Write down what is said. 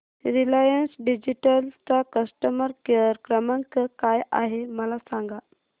Reliance digital चा customer care क्रमांक काय आहे मला सांगा